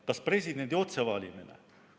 Kas presidendi otsevalimine?